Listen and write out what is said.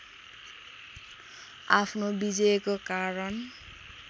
आफ्नो विजयको कारण